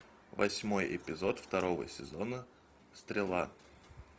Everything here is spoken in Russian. восьмой эпизод второго сезона стрела